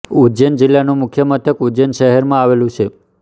ઉજ્જૈન જિલ્લાનું મુખ્ય મથક ઉજ્જૈન શહેરમાં આવેલું છે